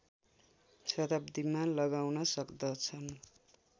शताब्दीमा लगाउन सक्दछन्